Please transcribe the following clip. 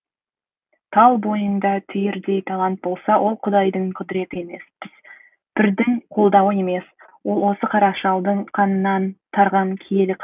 тал бойыңда түйірдей талант болса ол құдайдың құдіреті емес пірдің қолдауы емес ол осы қара шалдың қанынан тараған киелі қасиет